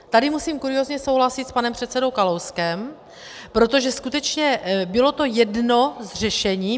Tady musím kuriózně souhlasit s panem předsedou Kalouskem, protože skutečně bylo to jedno z řešení.